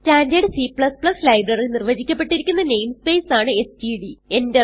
standard C library നിർവചിക്കപ്പെട്ടിരിക്കുന്ന namespace ആണ് STD